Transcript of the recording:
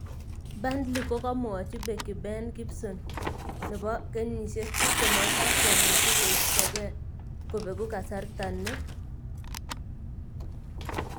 (Daily Echo) Burnley kokomwachi Beki Ben Gibson, 26, komuchi koistoke kobegu kasarta ni.